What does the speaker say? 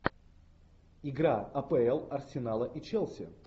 игра апл арсенала и челси